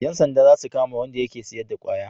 Yan sanda za su kama Wanda yake sayar da kwaya